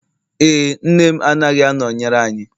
ee, nne m anaghị anọnyere anyị